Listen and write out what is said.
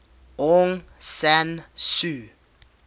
aung san suu